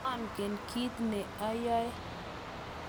monget kiit ne ayoe